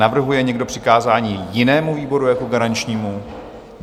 Navrhuje někdo přikázání jinému výboru jako garančnímu?